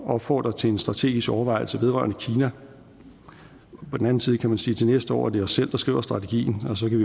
opfordre til en strategisk overvejelse vedrørende kina på den anden side kan man sige at til næste år er det os selv der skriver strategien og så kan